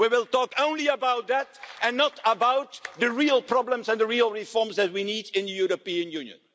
We will talk only about that, and not about the real problems and about the real reforms that we need in the European Union.